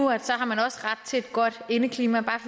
har man også ret til et godt indeklima